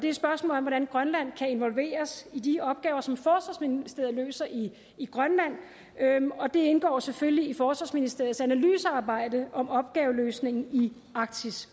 et spørgsmål om hvordan grønland kan involveres i de opgaver som forsvarsministeriet løser i grønland det indgår selvfølgelig i forsvarsministeriets analysearbejde om opgaveløsningen i arktis